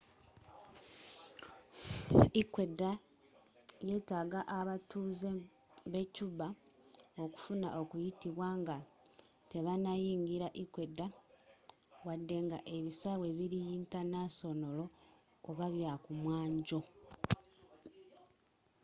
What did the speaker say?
ecuador yetaaga abatuuze be cuba okufuna okuyitibwa nga tebanayingira ecuador wadenga ebisaawe biri yintanasonolo oba byakumwanjo